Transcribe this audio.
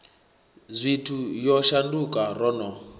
zwithu yo shanduka ro no